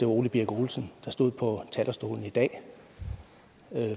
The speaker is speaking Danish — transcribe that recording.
ole birk olesen der stod på talerstolen i dag